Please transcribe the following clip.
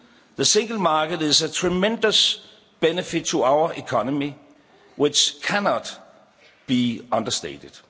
The Single Market is a tremendous benefit to our economy which cannot be understated.